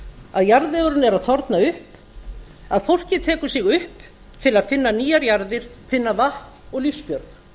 að jarðvegurinn er að þorna upp að fólkið tekur sig upp til að finna nýjar jarðir finna vatn og lífsbjörg